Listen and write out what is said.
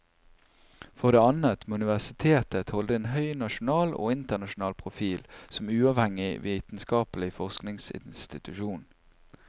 For det annet må universitetet holde en høy nasjonal og internasjonal profil som uavhengig vitenskapelig forskningsinstitusjon.